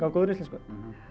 á góðri íslensku